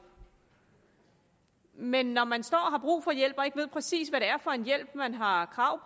men når man står og har brug for hjælp og ikke præcis ved er for en hjælp man har krav